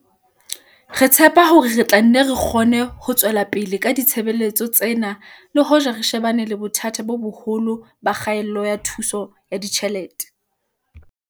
Re tshepa hore re tla nne re kgone ho tswela pele ka ditshebeletso tsena le hoja re shebane le bothata bo boholo ba kgaello ya thuso ya ditjhelete.